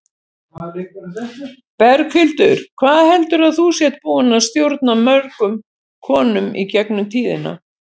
Berghildur: Hvað heldurðu að þú sért búin að stjórna mörgum konum í gegnum tíðina?